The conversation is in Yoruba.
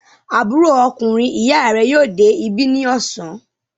Àbúrò ọkùnrin ìyá rẹ yóò dé ibi ní ọ̀sán.